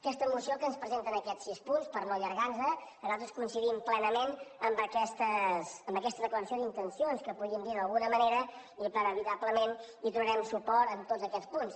aquesta moció que ens presenta en aquests sis punts per no allargar nos nosaltres coincidim plenament amb aquesta declaració d’intencions que podíem dir d’alguna manera i que inevitablement donarem suport a tots aquests punts